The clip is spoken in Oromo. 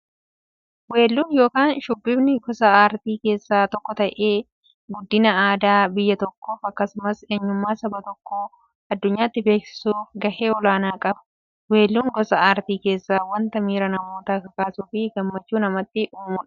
Weelluun yookin shubbifni gosa aartii keessaa tokko ta'ee, guddina aadaa biyya tokkoof akkasumas eenyummaa saba tokkoo addunyyaatti beeksisuuf gahee olaanaa qaba. Weelluun gosa artii keessaa wanta miira namootaa kakaasuufi gammachuu namatti uumudha.